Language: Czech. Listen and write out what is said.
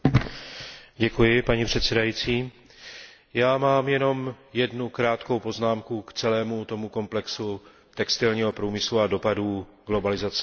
Děkuji paní předsedající, já mám jenom jednu krátkou poznámku k celému tomu komplexu textilního průmyslu a dopadů globalizace na něj.